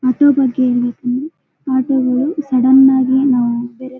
ಮದುವೆ ಬಗ್ಗೆ ಹೇಳ್ಬೇಕು ಅಂದ್ರೆ ಮದುವೆಗಳು ಸಡನ್ ಆಗಿ ನಾವು --